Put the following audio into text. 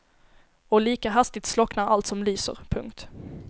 Och lika hastigt slocknar allt som lyser. punkt